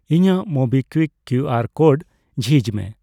ᱤᱧᱟᱜ MobiKwik QR code ᱡᱷᱤᱡ ᱢᱮ ᱾